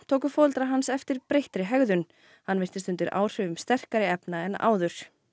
tóku foreldrar hans eftir breyttri hegðun hann virtist undir áhrifum sterkari efna en áður